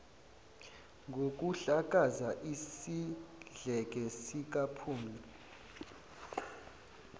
ngokuhlakaza isidleke sikaphumla